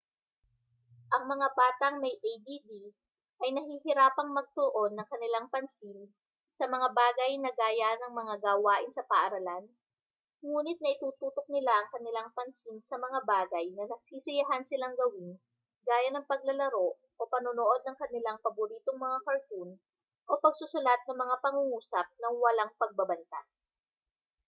ang mga batang may add ay nahihirapang magtuon ng kanilang pansin sa mga bagay na gaya ng mga gawain sa paaralan nguni't naitututok nila ang kanilang pansin sa mga bagay na nasisiyahan silang gawin gaya ng paglalaro o panonood ng kanilang paboritong mga cartoon o pagsusulat ng mga pangungusap nang walang pagbabantas